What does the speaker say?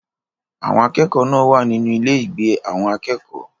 Àwọn akẹ́kọ̀ọ́ náà wà nínú ilé-ìgbé àwọn akẹ́kọ̀ọ́.